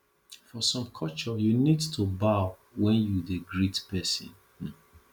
for some culture you need to bow when you dey greet person um